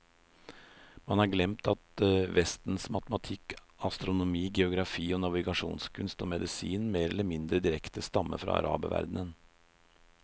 Man har glemt at vestens matematikk, astronomi, geografi, navigasjonskunst og medisin mer eller mindre direkte stammer fra araberverdenen.